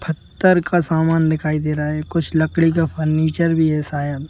पत्थर का सामान दिखाई दे रहा है कुछ लकड़ी का फर्नीचर भी है शायद.--